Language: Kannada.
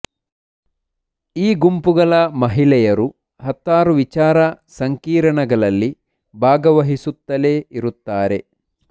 ಈ ಗುಂಪುಗಳ ಮಹಿಳೆಯರು ಹತ್ತಾರು ವಿಚಾರ ಸಂಕಿರಣಗಳಲ್ಲಿ ಭಾಗವಹಿಸುತ್ತಲೇ ಇರುತ್ತಾರೆ